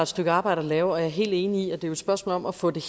stykke arbejde at lave og jeg er helt enig i at det er et spørgsmål om at få det